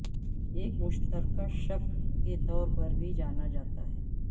ایک مشترکہ شق کے طور پر بھی جانا جاتا ہے